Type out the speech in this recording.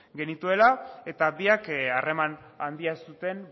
genituela eta biak harreman handia zuten